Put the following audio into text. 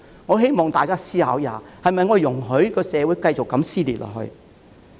我希望大家思考一下：我們是否容許社會繼續如此撕裂下去？